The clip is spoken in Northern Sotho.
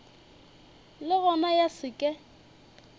le gona ya se ke